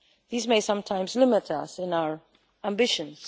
These may sometimes limit us in our ambitions.